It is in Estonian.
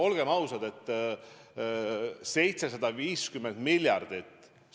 Olgem ausad, 750 miljardit on ülisuur summa.